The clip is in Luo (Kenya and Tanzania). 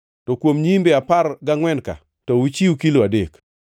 to kuom nyiimbe apar gangʼwen-ka, to uchiw kilo adek.